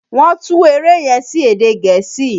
Wọ́n tú eré yẹn sí èdè gẹ̀ẹ́sì.